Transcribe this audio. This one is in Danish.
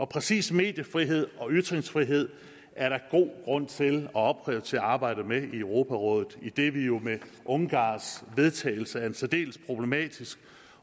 præcis mediefrihed og ytringsfrihed er der god grund til at opprioritere arbejdet med i europarådet idet vi jo med ungarns vedtagelse af en særdeles problematisk